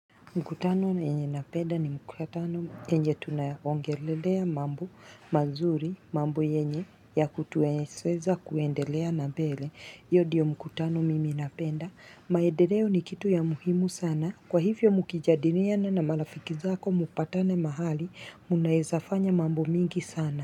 Mkutano enye napenda ni mkutano enye tunaongelelea mambo mazuri, mambu enye ya kutueseza kuendelea na bele, iyo diyo mkutano mimi napenda. Maedeleo ni kitu ya muhimu sana, kwa hivyo mukijadiriana na marafiki zako mupatane mahali, munaezafanya mambo mingi sana.